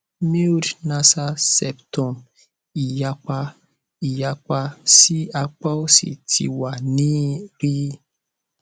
mild nasal septum iyapa iyapa si apa osi ti wa ni ri